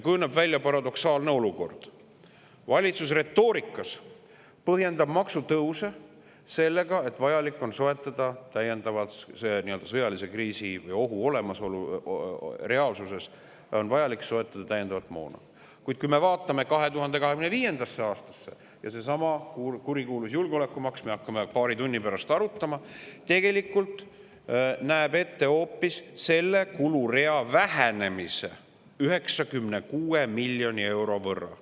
Kujuneb välja paradoksaalne olukord: retoorikas põhjendab valitsus maksutõuse sellega, et sõjalise kriisi või ohu reaalsuses on vaja soetada täiendavat moona, kuid kui me vaatame 2025. aastasse, siis näeme, et seesama kurikuulus julgeolekumaks, mida me paari tunni pärast hakkame arutama, näeb tegelikult ette hoopis selle kulurea vähenemise 96 miljoni euro võrra.